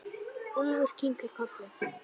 Úlfur kinkar kolli.